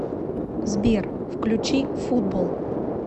сбер включи футбол